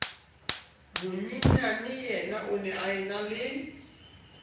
monyenyaneyena o ne a enale